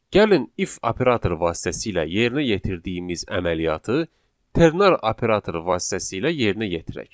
Gəlin if operatoru vasitəsilə yerinə yetirdiyimiz əməliyyatı ternar operatoru vasitəsilə yerinə yetirək.